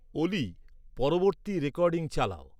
অলি পরবর্তী রেকডিং চালাও